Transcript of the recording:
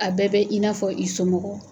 A bɛɛ bɛ i n'a fɔ i somɔgɔ